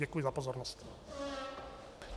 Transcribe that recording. Děkuji za pozornost.